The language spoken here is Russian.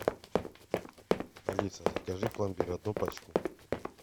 алиса закажи пломбир одну пачку